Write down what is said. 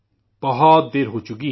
بہت دیر ہو چکی ہے